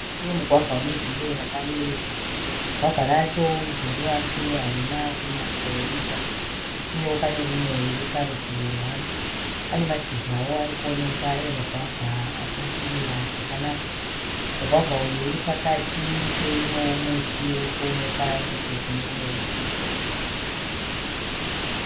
Muti wemugwavha une dzinde rakabereka. Gwavha racho iguru asi harina kunyatsoibva uye pane rimwe riri parutivi rwaro. Pane mashizhawo ari kuoneka emugwavha akasvibira zvakanaka. Mugwavha uyu uri pakati peimwewo muti uri kuoneka nechekune rumwe rutivi.